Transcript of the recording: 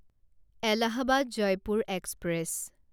Allahabad Jaipur express